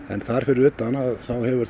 þar fyrir utan hefur